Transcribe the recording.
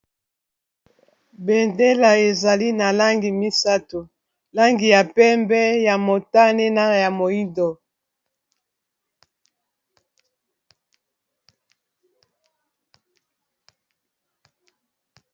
bendela ezali na langi misato langi ya pembe ya motane na ya moindo